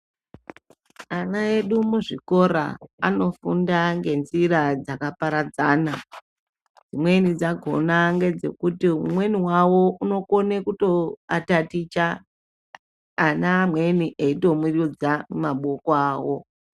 Ana udu muzvikora anofunda ngenzira dzakaparadzana. Dzimweni dzakhona ngedzekuti umweni wawo unokone kutoataticha ana amweni eitomurudza maboko awo.